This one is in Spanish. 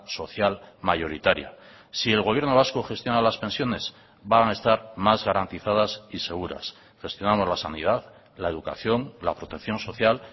social mayoritaria si el gobierno vasco gestiona las pensiones van a estar más garantizadas y seguras gestionamos la sanidad la educación la protección social